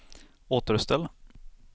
återställ